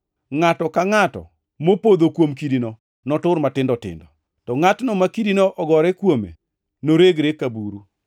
Ngʼato ka ngʼato mopodho kuom kidino notur matindo tindo, to ngʼatno ma kidino ogore kuome noregre ka buru.”